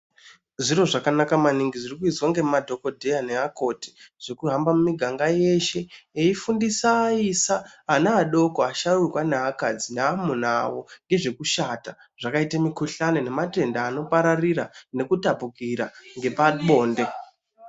Zviro zvakanaka maningi zvirikuizwa ngemadhokodheya neakoti zvekuhamba miganga yeshe eifundisa aisa, ana adoko, asharuka neakadzi neamuna awo ngezekushata zvakaita mikhuhlani nematenda anopararira nekutapukira ngepabonde.